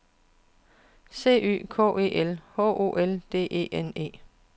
C Y K E L H O L D E N E